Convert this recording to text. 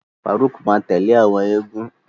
Faruq ma tẹle awọn égún.